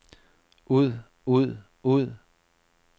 ud ud ud